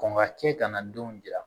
Kɔn ka kɛ kana denw jira